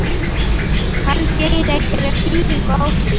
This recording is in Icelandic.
Kann Geir einhverja skýringu á því?